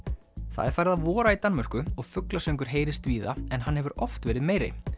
það er farið að vora í Danmörku og fuglasöngur heyrist víða en hann hefur oft verið meiri